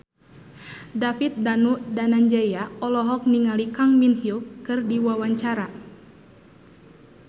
David Danu Danangjaya olohok ningali Kang Min Hyuk keur diwawancara